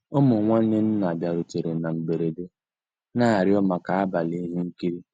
Ụmụ́ nnwànné nná bìàrùtérè ná mbérèdé, ná-àrịọ́ màkà àbàlí íhé nkírí.